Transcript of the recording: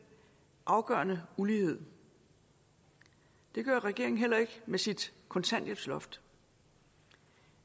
afgørende ulighed det gør regeringen heller ikke med sit kontanthjælpsloft